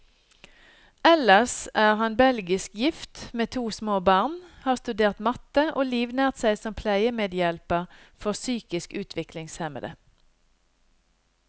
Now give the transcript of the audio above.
Ellers er han belgisk gift, med to små barn, har studert matte, og livnært seg som pleiemedhjelper for psykisk utviklingshemmede.